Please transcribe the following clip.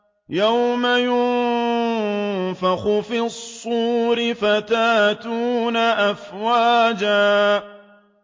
يَوْمَ يُنفَخُ فِي الصُّورِ فَتَأْتُونَ أَفْوَاجًا